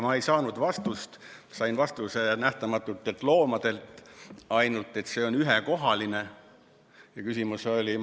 Ma ei saanud vastust, sain Nähtamatutelt Loomadelt ainult selle vastuse, et see on ühekohaline.